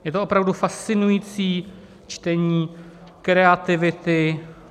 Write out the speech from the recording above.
Je to opravdu fascinující čtení kreativity.